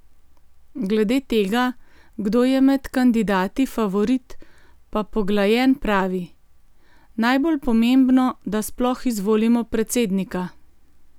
Glede tega, kdo je med kandidati favorit pa Poglajen pravi: "Najbolj pomembno, da sploh izvolimo predsednika.